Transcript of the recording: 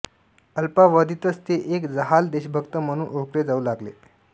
अल्पावधीतच ते एक जहाल देशभक्त म्हणून ओळखले जाऊ लागले